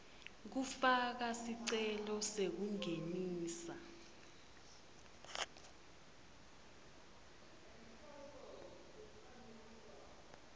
kufaka sicelo sekungenisa